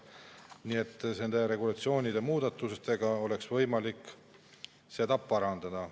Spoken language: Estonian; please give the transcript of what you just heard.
Nii et regulatsioonide muudatustega oleks võimalik seda parandada.